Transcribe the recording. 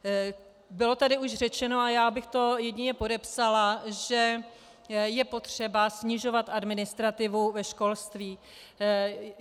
Bylo tady už řečeno a já bych to jedině podepsala, že je potřeba snižovat administrativu ve školství.